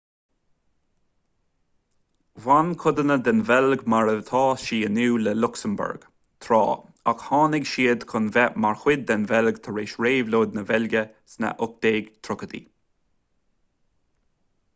bhain codanna den bheilg mar atá sí inniu le luxembourg tráth ach tháinig siad chun bheith mar chuid den bheilg tar éis réabhlóid na beilge sna 1830í